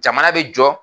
Jamana bɛ jɔ